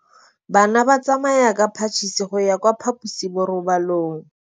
Bana ba tsamaya ka phašitshe go ya kwa phaposiborobalong.